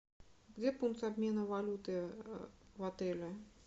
где пункт обмена валюты в отеле